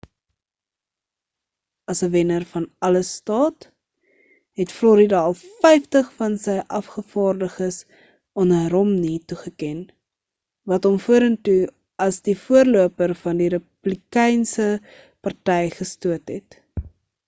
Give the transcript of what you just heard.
as 'n wenner-van-alles staat het florida al vyftig van sy afgevaardiges aan romney toegeken wat hom vorentoe as die voorloper van die republikeinse party gestoot het